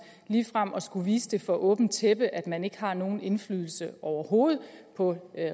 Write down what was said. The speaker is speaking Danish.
ligefrem at skulle vise for åbent tæppe at man ikke har nogen indflydelse overhovedet på